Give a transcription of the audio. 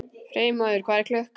Freymóður, hvað er klukkan?